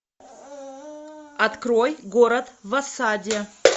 открой город в осаде